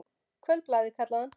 Kvöldblaðið, kallaði hann.